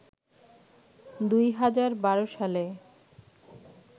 দুই হাজার বারো সালে